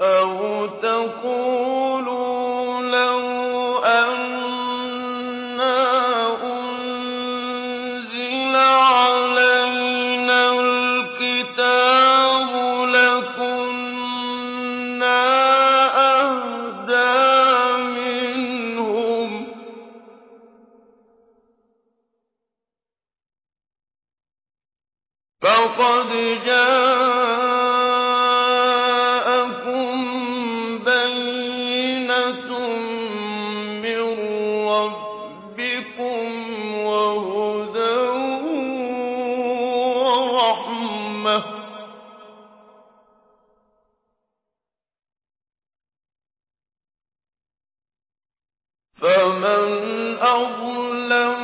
أَوْ تَقُولُوا لَوْ أَنَّا أُنزِلَ عَلَيْنَا الْكِتَابُ لَكُنَّا أَهْدَىٰ مِنْهُمْ ۚ فَقَدْ جَاءَكُم بَيِّنَةٌ مِّن رَّبِّكُمْ وَهُدًى وَرَحْمَةٌ ۚ فَمَنْ أَظْلَمُ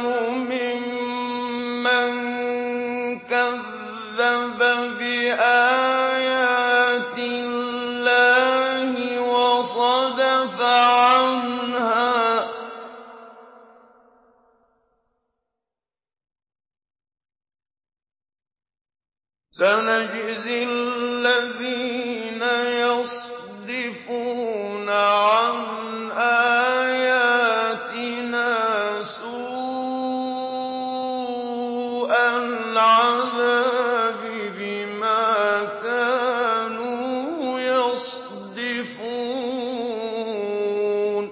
مِمَّن كَذَّبَ بِآيَاتِ اللَّهِ وَصَدَفَ عَنْهَا ۗ سَنَجْزِي الَّذِينَ يَصْدِفُونَ عَنْ آيَاتِنَا سُوءَ الْعَذَابِ بِمَا كَانُوا يَصْدِفُونَ